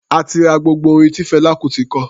A ti ra gbogbo orin tí Fẹlá Kutì kọ.